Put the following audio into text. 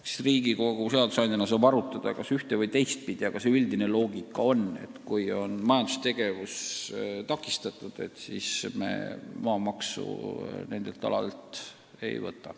Eks Riigikogu seadusandjana saab asja arutada ühte- ja teistpidi, aga üldine loogika on, et kui on majandustegevus takistatud, siis me maamaksu nendelt aladelt ei võta.